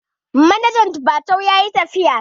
Manajan jifatu yayi tafiya